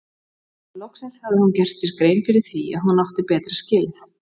Loksins hafði hún gert sér grein fyrir því að hún átti betra skilið.